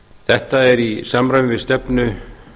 þetta er í samræmi við stefnu